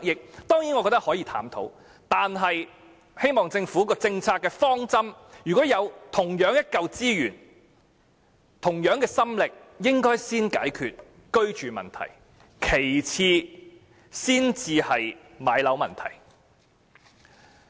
我覺得這類計劃可以探討，但希望政府的政策方針是，如果有同樣的資源、心力，應該先用於解決居住問題，其次才是置業問題。